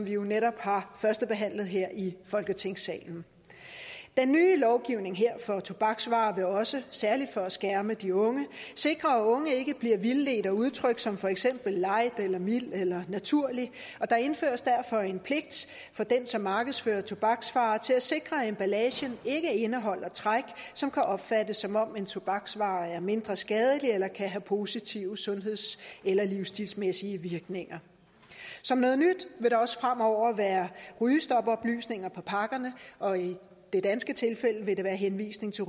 jo netop har førstebehandlet her i folketingssalen den nye lovgivning her for tobaksvarer vil også særlig for at skærme de unge sikre at unge ikke bliver vildledt af udtryk som for eksempel light eller mild eller naturlig og der indføres derfor en pligt for den som markedsfører tobaksvarer til at sikre at emballagen ikke indeholder træk som kan opfattes som om en tobaksvare er mindre skadelig eller kan have positive sundheds eller livstilsmæssige virkninger som noget nyt vil der også fremover være rygestopoplysninger på pakkerne og i det danske tilfælde vil det være henvisning til